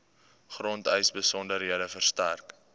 grondeise besonderhede verstrek